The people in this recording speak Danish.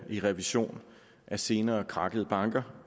i revisionen af senere krakkede banker